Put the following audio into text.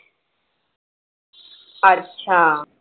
अच्छा